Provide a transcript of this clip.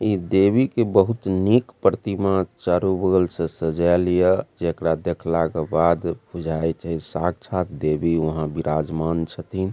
ई देवी के बहुत निक प्रतिमा चारो बगल से सजा लिए जेकरा देखला के बाद बुझाए छे साक्षात् देवी वहाँ विराजमान छथिन।